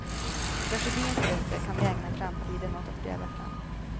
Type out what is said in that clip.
Tragedins rötter kan vi ägna framtiden åt att gräva fram.